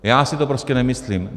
Já si to prostě nemyslím.